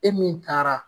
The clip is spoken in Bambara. E min taara